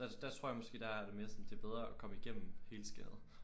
Altså der tror jeg måske der har jeg det mere sådan det er bere at komme igennem helskindet